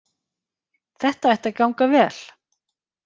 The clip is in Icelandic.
Þetta ætti að ganga vel